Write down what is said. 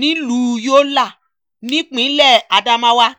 nílùú yọlá nípínlẹ̀ adamawa